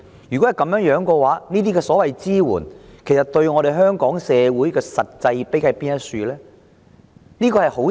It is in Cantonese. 若然如此，這些所謂支援對香港社會的實際裨益何在？